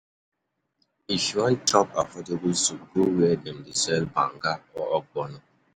If you wan chop affordable soup, go where dem dey sell banga or ogbono.